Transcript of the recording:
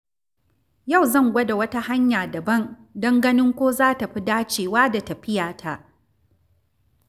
Yau zan gwada wata hanya dabam don ganin ko za ta fi dacewa da tafiyata.